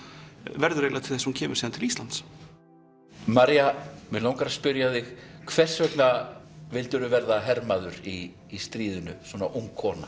verður eiginlega til þess að hún kemur síðan til Íslands maria mig langar að spyrja þig hvers vegna vildirðu verða hermaður í stríðinu svona ung kona